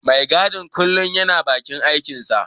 Mai gadin kullum yana bakin aikinsa.